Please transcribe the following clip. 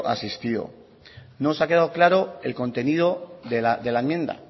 asistido no nos ha quedado claro el contenido de la enmienda